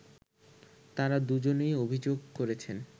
তারা দুজনেই অভিযোগ করেছেন